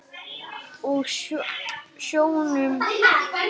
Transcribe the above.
Og sjónum.